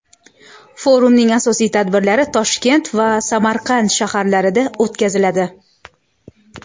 Forumning asosiy tadbirlari Toshkent va Samarqand shaharlarida o‘tkaziladi.